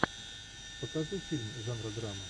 покажи фильм жанра драма